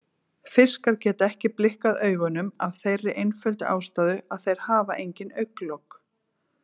Fiskar geta ekki blikkað augunum af þeirri einföldu ástæðu að þeir hafa engin augnlok.